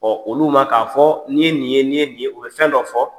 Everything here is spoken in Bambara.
olu ma k'a fɔ n'i ye nin ye n'i ye nin ye o be fɛn dɔ fɔ.